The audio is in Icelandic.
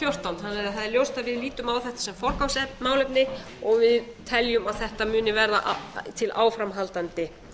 fjórtán þannig að það er ljóst að við lítum á þetta sem forgangsmálefni og við teljum að þetta muni verða til áframhaldandi